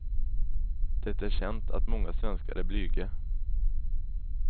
Det är känt att många svenskar är blyga.